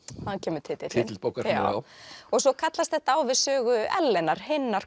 þaðan kemur titillinn svo kallast þetta á við sögu Ellenar hinnar